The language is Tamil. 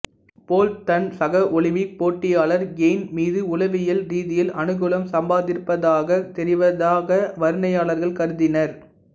போல்ட் தன் சக ஒலிம்பிக் போட்டியாளர் கேயின் மீது உளவியல் ரீதியில் அனுகூலம் சம்பாதித்திருப்பதாகத் தெரிவதாக வர்ணனையாளர்கள் கருதினர்